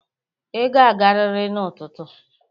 Ị ga-agarịrị n'ụtụtụ!